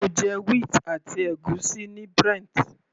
Mo jẹ wheat àti ègúsí ní Brent.